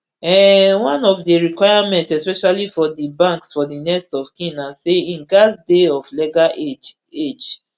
um one of di requirements especially for di banks for di next of kin na say im gatz dey of legal age age